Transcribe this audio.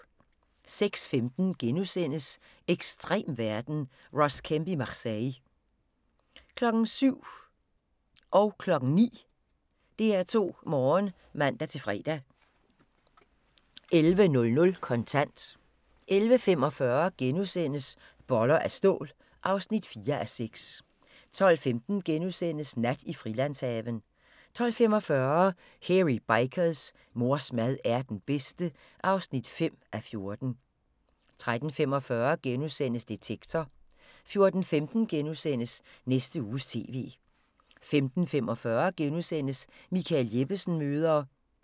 06:15: Ekstrem verden – Ross Kemp i Marseille * 07:00: DR2 Morgen (man-fre) 09:00: DR2 Morgen (man-fre) 11:00: Kontant 11:45: Boller af stål (4:6)* 12:15: Nat i Frilandshaven * 12:45: Hairy Bikers: Mors mad er den bedste (5:14) 13:45: Detektor * 14:15: Næste Uges TV * 14:45: Michael Jeppesen møder ...*